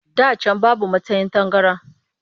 Da can babu masan tangaran